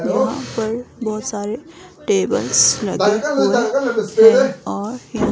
यहां पर बहोत सारे टेबल्स रखे हुए हैं और यहाँ--